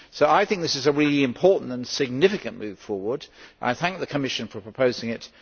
I think this is a really important and significant move forward, and I thank the Commission for proposing it.